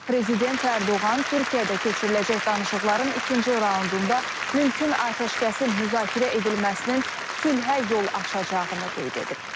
Prezident Ərdoğan Türkiyədə keçiriləcək danışıqların ikinci raundunda mümkün atəşkəsin müzakirə edilməsinin sülhə yol açacağını qeyd edib.